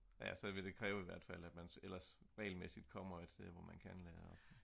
ja så ville det kræve i hvert fald at man regelmæssigt kommer et sted hvor man kan